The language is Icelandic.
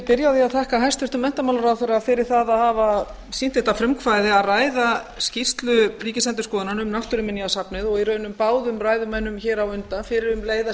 því að þakka hæstvirtum menntamálaráðherra fyrir það að hafa sýnt þetta frumkvæði að ræða skýrslu ríkisendurskoðunar um náttúruminjasafnið og í raun báðum ræðumönnum hér á undan fyrir um leið að